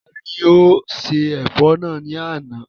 Tani ó se ẹ̀fọ́ náà ní àná?